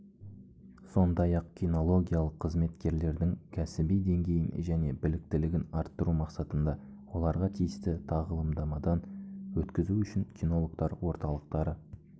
сондай-ақ кинологиялық қызметкерлердің кәсіби деңгейін және біліктілігін арттыру мақсатында олар тиісті тағылымдамадан өткізу үшін кинологтар орталықтары